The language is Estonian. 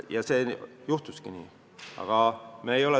Ja juhtuski nii!